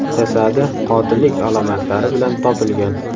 jasadi qotillik alomatlari bilan topilgan.